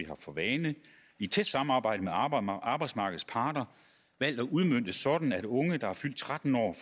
har for vane i tæt samarbejde med arbejdsmarkedets parter valgt at udmønte sådan at unge der er fyldt tretten år